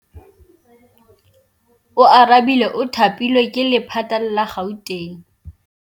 Oarabile o thapilwe ke lephata la Gauteng.